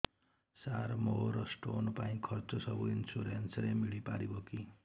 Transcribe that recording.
ସାର ମୋର ସ୍ଟୋନ ପାଇଁ ଖର୍ଚ୍ଚ ସବୁ ଇନ୍ସୁରେନ୍ସ ରେ ମିଳି ପାରିବ କି